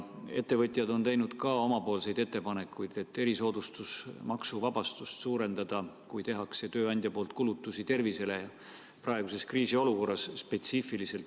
Ettevõtjad on teinud ka omapoolseid ettepanekuid, et võiks erisoodustusmaksuvabastust suurendada, kui tööandja teeb praeguses kriisiolukorras kulutusi tervisele.